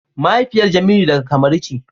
mahaifiyar jemilu daga Cameron ce.